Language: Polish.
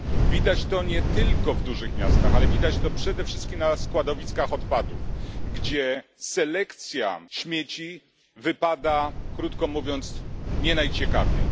Widać to nie tylko w dużych miastach, ale przede wszystkim na składowiskach odpadów, gdzie selekcja śmieci wypada, krótko mówiąc, nie najciekawiej.